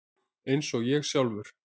Eins og ég sjálfur.